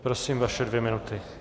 Prosím, vaše dvě minuty.